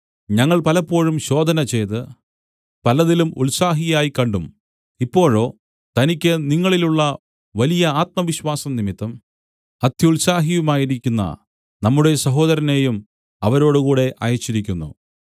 ഞങ്ങൾ പലപ്പോഴും ശോധനചെയ്ത് പലതിലും ഉത്സാഹിയായി കണ്ടും ഇപ്പോഴോ തനിക്ക് നിങ്ങളിലുള്ള വലിയ ആത്മവിശ്വാസം നിമിത്തം അത്യുത്സാഹിയായുമിരിക്കുന്ന നമ്മുടെ സഹോദരനെയും അവരോടുകൂടെ അയച്ചിരിക്കുന്നു